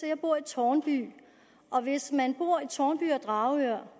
jeg bor i tårnby hvis man bor i tårnby eller dragør